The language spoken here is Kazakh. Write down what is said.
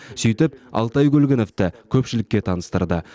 сөйтіп алтай көлгіновті көпшілікке таныстырды